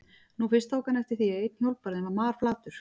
Nú fyrst tók hann eftir því að einn hjólbarðinn var marflatur.